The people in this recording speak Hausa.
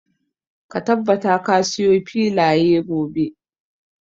Ka tabbata ka siyo filaya gobe.